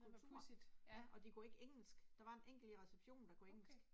Ej hvor pudsigt, ja. Okay